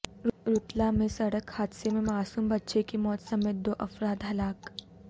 رتلام میں سڑک حادثے میں معصوم بچے کی موت سمیت دو افراد ہلاک